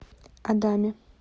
адаме